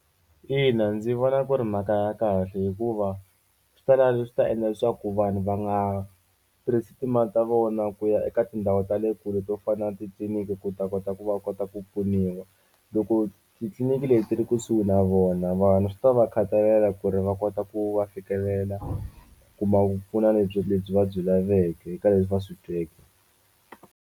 Ina ndzi vona ku ri mhaka ya kahle hikuva swi ta la leswi swi ta endla leswaku vanhu va nga tirhisi timali ta vona ku ya eka tindhawu ta le kule to fana na titliniki ku ta kota ku va kota ku pfuniwa loko titliliniki leti ri kusuhi na vona vanhu swi ta va khatalela ku ri va kota ku va fikelela ku kuma ku pfuna lebyi lebyi va byi laveke eka leswi va swi tweke.